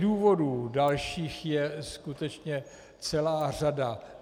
Důvodů dalších je skutečně celá řada.